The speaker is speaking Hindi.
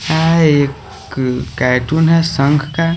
यहाँ एक एक कैर्टून है शंख का--